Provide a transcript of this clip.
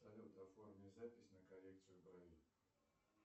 салют оформи запись на коррекцию бровей